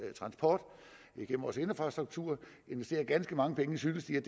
transport vores infrastruktur investerer ganske mange penge i cykelstier